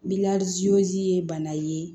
ye bana ye